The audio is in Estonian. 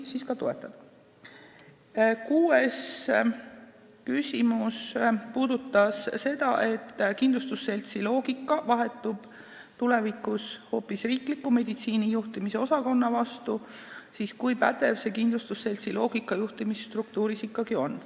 Kuues küsimus puudutas seda, et kui kindlustusseltsi loogikal põhinev süsteem vahetub tulevikus hoopis riikliku meditsiini juhtimise osakonna vastu, siis kui pädev see kindlustusseltsi loogika juhtimisstruktuuris ikkagi on.